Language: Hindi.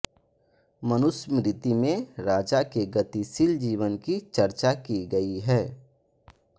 मनुस्मृति में राजा के गतिशील जीवन की चर्चा की गई है